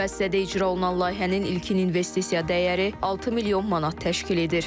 Müəssisədə icra olunan layihənin ilkin investisiya dəyəri 6 milyon manat təşkil edir.